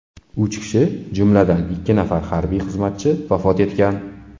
Uch kishi, jumladan, ikki nafar harbiy xizmatchi vafot etgan.